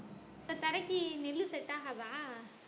இப்ப தரைக்கு நெல்லு set ஆகாதா